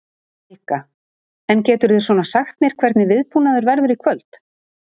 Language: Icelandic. Helga: En geturðu svona sagt mér hvernig viðbúnaður verður í kvöld?